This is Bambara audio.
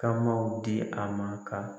Kamaw di a ma ka.